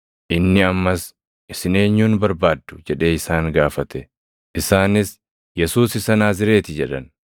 Inni ammas, “Isin eenyun barbaaddu?” jedhee isaan gaafate. Isaanis, “Yesuus isa Naazreeti” jedhan.